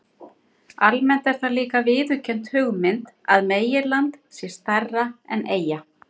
Almennt er það líka viðurkennd hugmynd að meginland sé stærra en eyja.